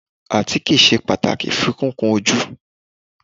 Àtíkè sé pàtàkì fún kíkun ojú.